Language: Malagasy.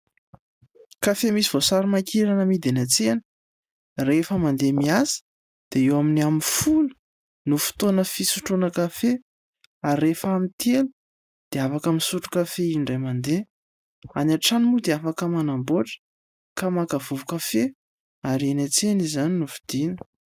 Kafe misy voasary makirana amidy any an-tsena. Rehefa mandeha miasa dia eo amin'ny amin'ny folo no fotoana fisotroana kafe, ary rehefa amin'ny telo dia afaka misotro kafe indray mandeha. Any an-trano moa dia afaka manamboatra ka maka vovo-kafe, ary eny an-tsena izany no vidiana.